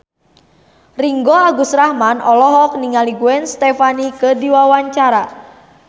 Ringgo Agus Rahman olohok ningali Gwen Stefani keur diwawancara